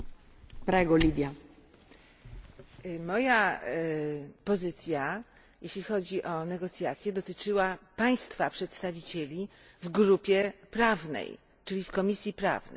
Pani Przewodnicząca! Moja pozycja, jeśli chodzi o negocjacje, dotyczyła Państwa przedstawicieli w grupie prawnej, czyli w Komisji Prawnej.